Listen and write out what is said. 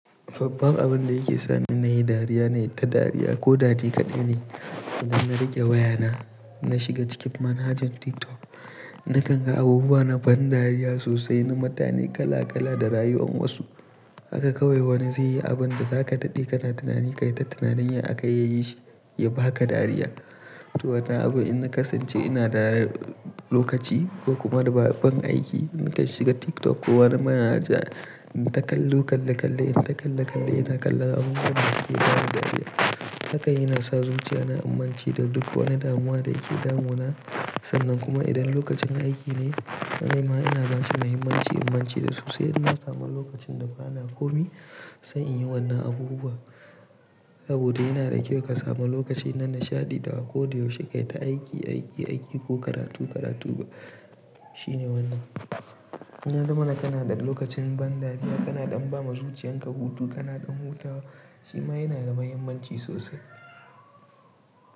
Fabba abin da yake sa ni na yi dariya na yi ta dariya ko da dare kaɗai ne. Idan na rage wayana, na shiga cikin manhajar TikTok, na kanga abubuwa na ban dariya sosai na mutane kala kala da rayuwan wasu. Haka kawai wani zai yi abin da za ka ɗade kana tunani kai ta tunanin ya aka yayi shi, ya baka dariya. To wannan abu in na kasance ina dariya lokaci ko kuma da ba ban aiki, in ka shiga TikTok ko wani manhaja in ta kalle kalle kalle, in ta kalle kalle ina kalla abubuwan da suke damu dariya. Haka yana sa zuciya na in mance da duk wani damuwa da yake damu na. Sannan kuma idan lokacin aiki ne, na yi ma ina ba suna himanci in mance da su, sai in ma samu lokacin da ba na komi, sai in yi wannan abubuwa. Saboda yana da kyau ka samu lokaci na nishaɗi da wa ko da yaushe kai ta aiki, aiki, aiki ko karatu, karatu ba. Shine wannan. Na damana kana ɗan lokacin ban dariya kana ɗan ba ma zuciyan ka hutu kana ɗan hutawa, shi ma yana da muhimmanci sosai.